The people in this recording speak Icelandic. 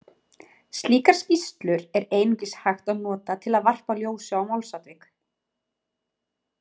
Slíkar skýrslur er einungis hægt að nota til að varpa ljósi á málsatvik.